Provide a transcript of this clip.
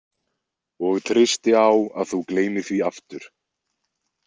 Og treysti á að þú gleymir því aftur.